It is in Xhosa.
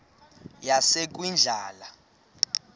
yasekwindla